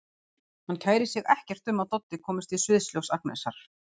Hann kærir sig ekkert um að Doddi komist í sviðsljós Agnesar.